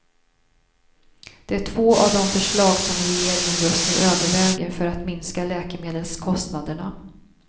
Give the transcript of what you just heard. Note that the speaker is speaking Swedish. Det är två av de förslag som regeringen just nu överväger för att minska läkemedelskostnaderna.